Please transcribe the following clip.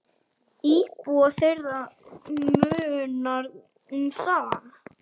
Íbúa þeirra munar um það.